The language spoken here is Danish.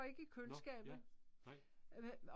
Nå, ja, nej